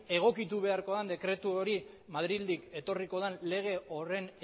egokitu beharko den dekretu hori madrildik etorriko den lege horren